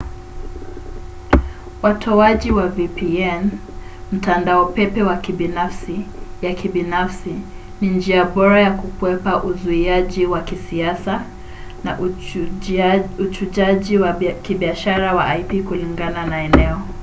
watoaji wa vpn mtandao pepe wa kibinafsi ya kibinafsi ni njia bora ya kukwepa uzuiaji wa kisiasa na uchujaji wa kibiashara wa ip kulingana na eneo